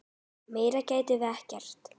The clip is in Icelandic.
Meira getum við ekki gert.